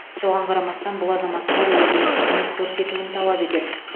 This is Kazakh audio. соған қарамастан бұл азаматтар өзіне қызмет көрсетуін талап етеді